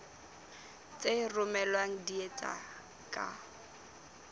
tse romellwang di etswa ka